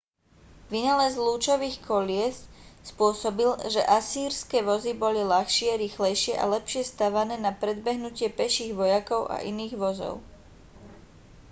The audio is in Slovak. vynález lúčových kolies spôsobil že asýrske vozy boli ľahšie rýchlejšie a lepšie stavané na predbehnutie peších vojakov a iných vozov